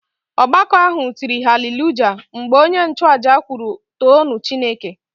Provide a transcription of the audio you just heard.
Ọgbakọ ahụ tịrị Hallelujah! mgbe onye nchuaja kwuru too nụ Chineke